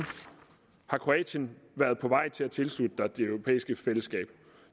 har kroatien været på vej til at tilslutte sig det europæiske fællesskab